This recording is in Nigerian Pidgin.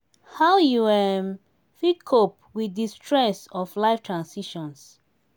how you um fit cope with di stress of life transitions?